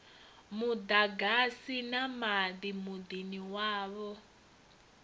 muḓagasi na maḓi muḓini wavho